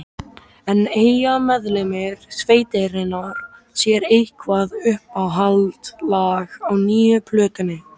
En eiga meðlimir sveitarinnar sér eitthvað uppáhaldslag á nýju plötunni?